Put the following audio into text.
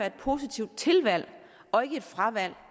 et positivt tilvalg og ikke et fravalg